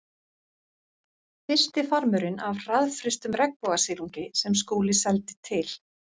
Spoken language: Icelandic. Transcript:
Fyrsti farmurinn af hraðfrystum regnbogasilungi sem Skúli seldi til